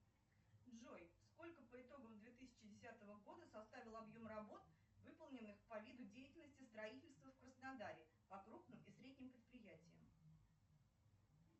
джой сколько по итогам две тысячи десятого года составил объем работ выполненных по виду деятельности строительства в краснодаре по крупным и средним предприятиям